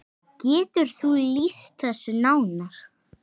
Getur þú lýst þessu nánar?